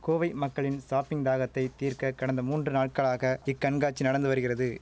கோவை மக்களின் ஷாப்பிங் தாகத்தை தீர்க்க கடந்த மூன்று நாட்களாக இக்கண்காட்சி நடந்து வருகிறது